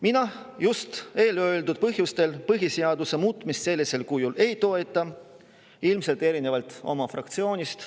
Mina just eelöeldud põhjustel põhiseaduse sellisel kujul muutmist ei toeta, ilmselt erinevalt oma fraktsioonist.